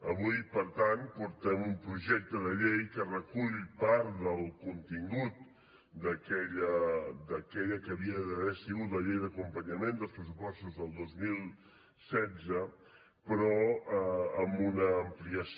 avui per tant portem un projecte de llei que recull part del contingut d’aquella que havia d’haver sigut la llei d’acompanyament dels pressupostos del dos mil setze però amb una ampliació